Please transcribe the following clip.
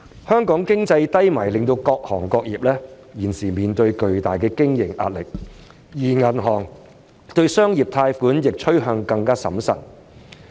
香港經濟低迷令各行業現時面對巨大的經營壓力，而銀行對商業借貸亦趨向更審慎。